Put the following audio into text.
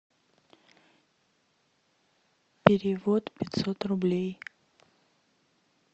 перевод пятьсот рублей